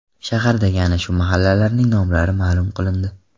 Shahardagi ana shu mahallalarning nomlari ma’lum qilindi .